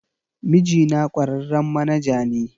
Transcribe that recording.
Mijina kwararren manaja ne